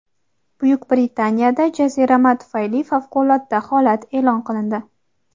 Buyuk Britaniyada jazirama tufayli favqulodda holat e’lon qilindi.